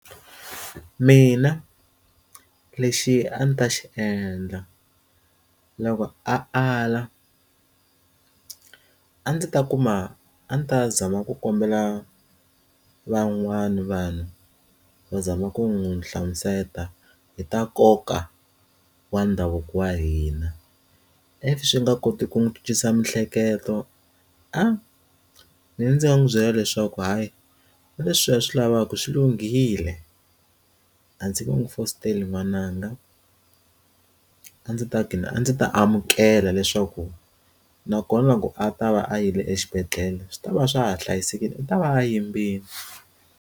Mina lexi a ndzi ta xi endla loko a ala a ndzi ta kuma a ndzi ta zama ku kombela van'wana vanhu va zama ku n'wi hlamusela hi ta nkoka wa ndhavuko wa hina if swi nga koti ku n'wi cincisa miehleketo ahh ndzi nga n'wi byela leswaku hayi leswiya swi lavaka swi lunghile a ndzi nge n'wi fositeli n'wananga a ndzi ta gina a ndzi ta amukela leswaku nakona loko a ta va a yile exibedhlele swi tava a swa ha hlayisekile u ta va a yimbile.